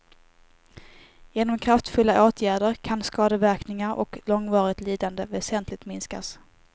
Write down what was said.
Genom kraftfulla åtgärder kan skadeverkningar och långvarigt lidande väsentligt minskas.